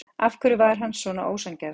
Af hverju var hann svona ósanngjarn?